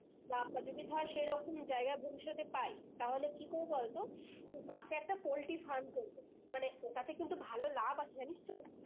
বা আবার ধর সেই জায়গা ভবিষৎ এ পাই তাহলে কি করবো বলতো পাশে একটা পোল্ট্রি farm করবো মানে ওটাতে কিন্তু ভালো লাভ আছে জানিস তো